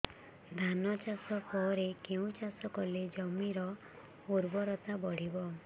ଧାନ ଚାଷ ପରେ କେଉଁ ଚାଷ କଲେ ଜମିର ଉର୍ବରତା ବଢିବ